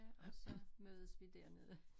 Ja og så mødes vi dernede